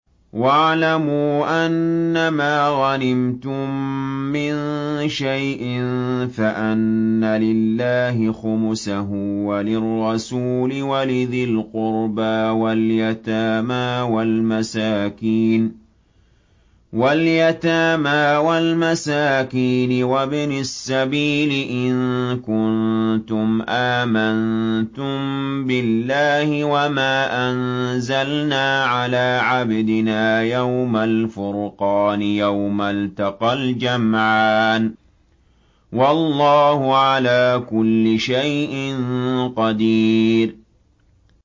۞ وَاعْلَمُوا أَنَّمَا غَنِمْتُم مِّن شَيْءٍ فَأَنَّ لِلَّهِ خُمُسَهُ وَلِلرَّسُولِ وَلِذِي الْقُرْبَىٰ وَالْيَتَامَىٰ وَالْمَسَاكِينِ وَابْنِ السَّبِيلِ إِن كُنتُمْ آمَنتُم بِاللَّهِ وَمَا أَنزَلْنَا عَلَىٰ عَبْدِنَا يَوْمَ الْفُرْقَانِ يَوْمَ الْتَقَى الْجَمْعَانِ ۗ وَاللَّهُ عَلَىٰ كُلِّ شَيْءٍ قَدِيرٌ